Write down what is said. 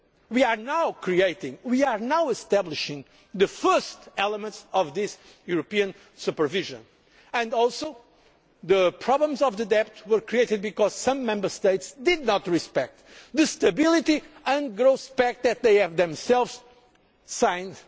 We are now creating, we are now establishing, the first elements of this European supervision. The problems of the debt were also created because some Member States did not respect the Stability and Growth Pact which they themselves had